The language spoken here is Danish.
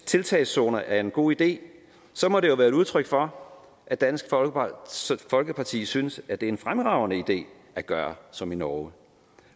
tiltagszoner er en god idé må det jo være et udtryk for at dansk folkeparti synes at det er en fremragende idé at gøre som i norge